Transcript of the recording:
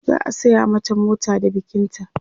za'a saya mata mota da bikin ta